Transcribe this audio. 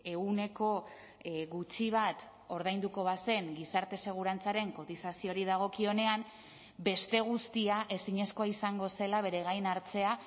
ehuneko gutxi bat ordainduko bazen gizarte segurantzaren kotizazioari dagokionean beste guztia ezinezkoa izango zela bere gain hartzea